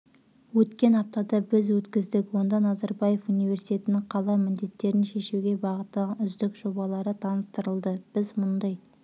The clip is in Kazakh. өткен аптада біз өткіздік онда назарбаев университетінің қала міндеттерін шешуге бағытталған үздік жобалары таныстырылды біз мұндай